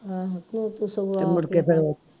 ਆਹੋ ਤੇ ਉਹ ਤੇ ਸਗੋਂ